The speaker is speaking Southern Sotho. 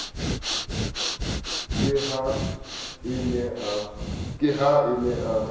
ke ha a ne a